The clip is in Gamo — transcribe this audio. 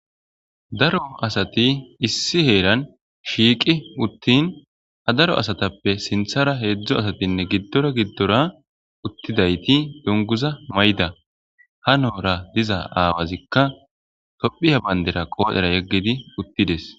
Daro asati issi heeran shiiqi uttin ha daro asatappe sinthara heedzdzo asatinne giddora giddora uttidayti donguza may7da ha noora diza aawazikka tophiya bandera qoodera yeggidi uttides.